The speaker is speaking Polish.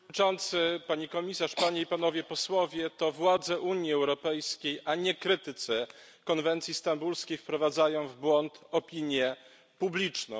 Panie Przewodniczący! Pani Komisarz, Panie i Panowie Posłowie! To władze Unii Europejskiej, a nie krytycy konwencji stambulskiej wprowadzają w błąd opinię publiczną.